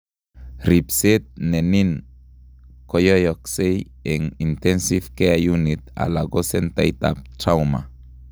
Ribseet nenin koyoyokse eng intensve care unit alako centait ab trauma